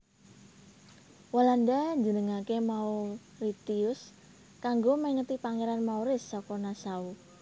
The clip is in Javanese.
Walanda njenengaké Mauritius kanggo mèngeti Pangeran Maurice saka Nassau